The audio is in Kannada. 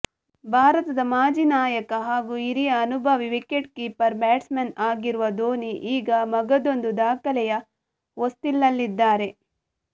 ಭಾರತದ ಮಾಜಿ ನಾಯಕ ಹಾಗೂ ಹಿರಿಯ ಅನುಭವಿ ವಿಕೆಟ್ ಕೀಪರ್ ಬ್ಯಾಟ್ಸ್ಮನ್ ಆಗಿರುವ ಧೋನಿ ಈಗ ಮಗದೊಂದು ದಾಖಲೆಯ ಹೊಸ್ತಿಲಲ್ಲಿದ್ದಾರೆ